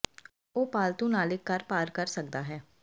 ਉਹ ਪਾਲਤੂ ਨਾਲ ਇੱਕ ਘਰ ਪਾਰ ਕਰ ਸਕਦਾ ਹੈ